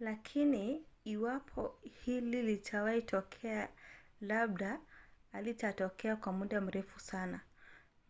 lakini iwapo hili litawahi kutokea labda halitatokea kwa muda mrefu sana.